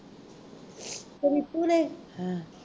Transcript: ਅਤੇ ਰੀਤੂ ਨੇ